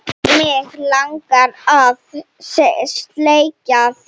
Mig langar að sleikja þig.